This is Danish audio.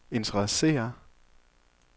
interesserer